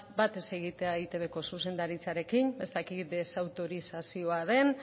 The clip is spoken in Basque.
bat ez egitea eitbko zuzendaritzarekin ez dakit desautorizazioa